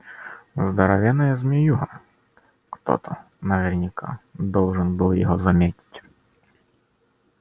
здоровенная змеюга кто-то наверняка должен был его заметить